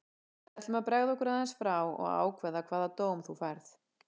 Við ætlum að bregða okkur aðeins frá og ákveða hvaða dóm þú færð.